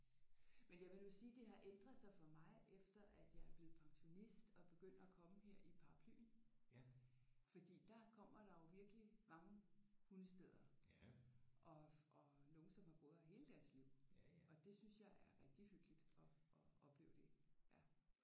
Men jeg vil nu sige det har ændret sig for mig efter at jeg er blevet pensionist og begynder at komme her i Paraplyen fordi der kommer der jo virkelig mange hundestedere og og nogen som har boet her hele deres liv og det synes jeg er rigtig hyggeligt at at opleve det ja